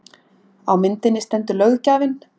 Á myndinni stendur löggjafinn